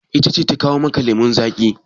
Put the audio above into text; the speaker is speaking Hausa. Ita ce ta kawo maka lemun zaƙi?